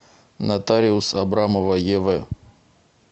нотариус абрамова ев